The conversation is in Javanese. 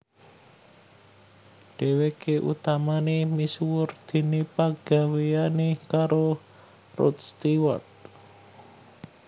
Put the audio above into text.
Dhèwèké utamané misuwur déné pagawéyané karo Rod Stewart